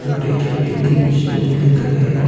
छोटे छोटी तीन स्टूल दिख रहे हैं।